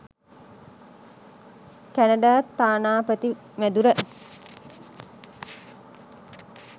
Canada තානාපති මැදුර.